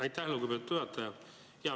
Aitäh, lugupeetud juhataja!